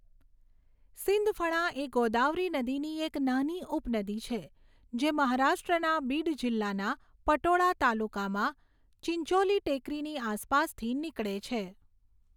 સિંદફણા એ ગોદાવરી નદીની એક નાની ઉપનદી છે જે મહારાષ્ટ્રના બીડ જિલ્લાના પટોડા તાલુકામાં ચિંચોલી ટેકરીની આસપાસથી નીકળે છે.